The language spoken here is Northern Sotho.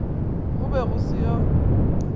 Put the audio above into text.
go be go se yoo